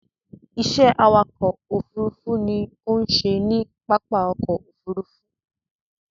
Ìṣe awakọ̀ ófurufú ló ń ṣe ní pápá ọkọ̀ Òfurufú.